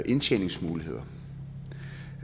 indtjeningsmuligheder